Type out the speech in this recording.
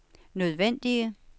nødvendige